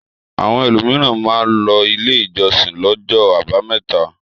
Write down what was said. Àwọn ẹlòmíràn máa ń lọ ilé ìjọsìn lọ́jọ́ àbámẹ́ta.